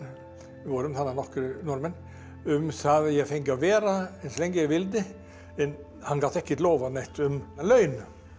við vorum þarna nokkrir Norðmenn um það að ég fengi að vera eins lengi ég vildi en hann gat ekki lofað neinu um laun